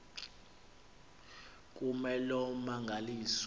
kume loo mmangaliso